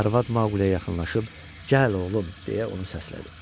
Arvad Maqliyə yaxınlaşıb gəl oğlum, deyə onu səslədi.